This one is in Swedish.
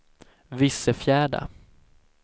Vissefjärda